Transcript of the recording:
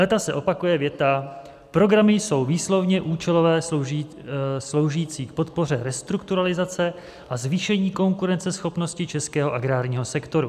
Léta se opakuje věta: Programy jsou výslovně účelové, sloužící k podpoře restrukturalizace a zvýšení konkurenceschopnosti českého agrárního sektoru.